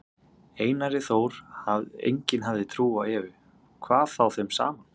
Einari Þór, enginn hafði trú á Evu, hvað þá þeim saman.